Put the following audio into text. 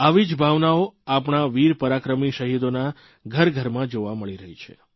આવી જ ભાવનાઓ આપણા વીરપરાક્રમી શહીદોના ઘરઘરમાં જોવા મળી રહી છે